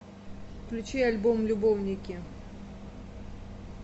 включи альбом любовники